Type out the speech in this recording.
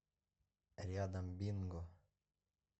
рядом бинго